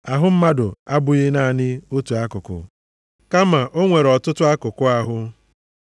Ahụ mmadụ abụghị naanị otu akụkụ, kama o nwere ọtụtụ akụkụ ahụ.